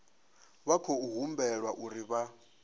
vha khou humbelwa uri vha